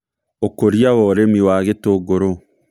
Ũkũria na ũrĩmi wa gĩtũngũrũ